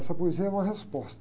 Essa poesia é uma resposta.